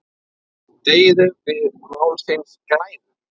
Deyðum við málsins glæður?